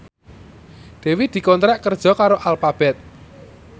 Dewi dikontrak kerja karo Alphabet